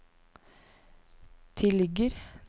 tilligger